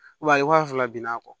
a ye waa fila bina kɔ